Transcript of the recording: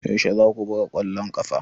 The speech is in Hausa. Yaushe za ku buga ƙwallon ƙafa?